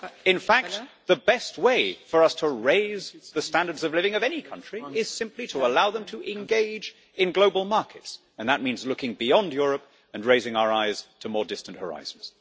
In fact, the best way for us to raise the standards of living of any country is simply to allow them to engage in global markets, and that means looking beyond Europe and raising our eyes to more distant horizons.